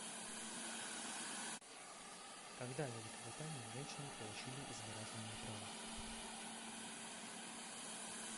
когда в великобритании женщины получили избирательные права